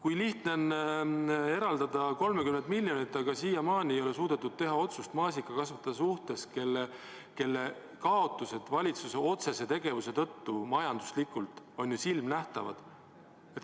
Nii lihtne on olnud eraldada 30 miljonit, aga siiamaani ei ole suudetud teha otsust maasikakasvataja suhtes, kelle majanduslik kaotus valitsuse otsese tegevuse tõttu on ju silmanähtav.